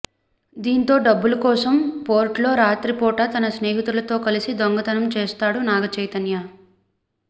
దీంతో డబ్బుల కోసం పోర్ట్లో రాత్రిపూట తన స్నేహితులతో కలిసి దొంగతనం చేస్తాడు నాగ చైతన్య